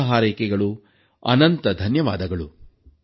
ಶುಭ ಹಾರೈಕೆಗಳು ಅನಂತ ಧನ್ಯವಾದಗಳು